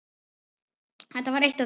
Þetta var eitt af því.